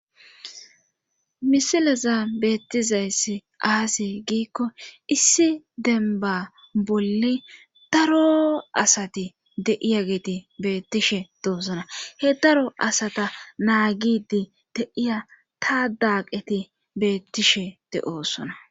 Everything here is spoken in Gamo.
Misilezn beettizayssi aaze giikko issi dembba bolli daro asati de7iyageti beettishe doosona he daro asata naagiddi de7iya taadaqeti beettishe de7oosona.